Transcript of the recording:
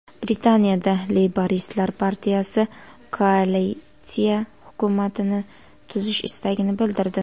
Britaniyada Leyboristlar partiyasi koalitsiya hukumatini tuzish istagini bildirdi.